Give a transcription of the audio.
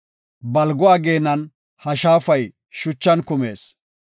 Balgo ageenan ha shaafay shachan kumees.